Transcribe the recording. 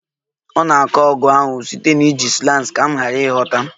Ọ na-akọ ọgụ ahụ site na iji slangs ka m ghara ịghọta